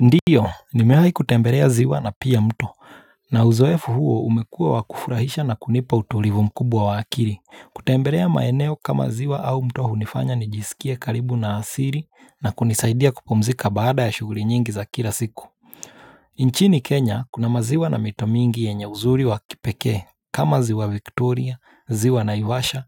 Ndiyo, nimewai kutembelea ziwa na pia mto. Na uzoefu huo umekua wakufurahisha na kunipa utulivu mkubwa wa akili. Kutembelea maeneo kama ziwa au mto hunifanya nijisikia karibu na asili na kunisaidia kupumzika baada ya shughuli nyingi za kila siku. Nchini Kenya, kuna maziwa na mito mingi yenye uzuri wa kipeke, kama ziwa Victoria, ziwa na Naivasha,